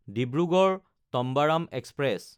Dibrugarh-Tambaram express